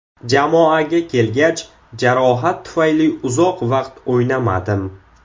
Jamoaga kelgach, jarohat tufayli uzoq vaqt o‘ynamadim.